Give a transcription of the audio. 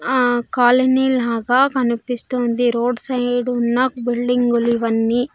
ఆ కాలనీ లాగా కనిపిస్తుంది రోడ్ సైడ్ ఉన్న బిల్డింగులు ఇవన్నీ.